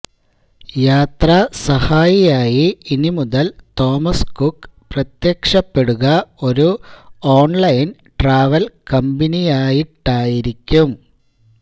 യാത്രാ സഹായിയായി ഇനി മുതൽ തോമസ് കുക്ക് പ്രത്യക്ഷപ്പെടുക ഒരു ഓൺലൈൻ ട്രാവൽ കമ്പനിയായിട്ടായിരിക്കും